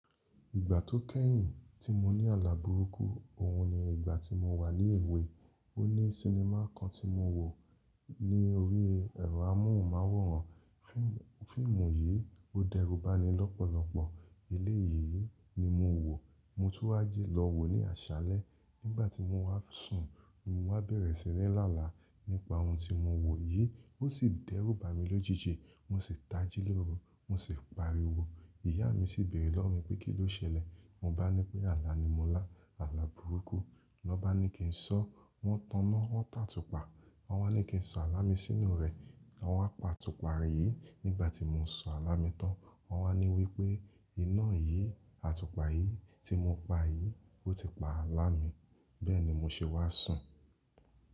Ìgbà tó kẹ́yìn tí mo ní àlá burúkú, òhun ni ìgbà tí mo wà ní èwe. O ní sinimá kan tí mo wò ní orí ẹ̀rọ amóhùnmáwòrán. Fíìmù yìí ó dẹ́rù ba ni lọ́pọ̀lọpọ̀. Eléyìí ni mo wò, mo tún wá ji lọ wò ní àṣálẹ́. Nígbà tí mo wá sùn, mo wá bẹ̀rẹ̀ síni lála nípa ohun tí mo wò yìí, ó sì dẹ́rù ba mi lójijì. Mo sì tají lóru, mo sì pariwo. Ìyá mi sì béèrè lówo mi pé kí ló ṣẹlẹ̀? Mo bá ni pé àlá ni mo lá, àlá burúkú. Lọn bá ni kí n sọ, wọ́n taná, wọ́n tàtùpà. Wọ́n wá ní kí n sọ àlá mi sínú rẹ̀. Wọ́n wá pa atùpà yí. Nígbà tí mo sọ àlá mi tán, wọ́n wá ní wí pé iná yìí, àtùpà yìí tí mo pa yìí ó ti pa àlá mi. Bẹ́ẹ̀ ni mo ṣe wá sùn.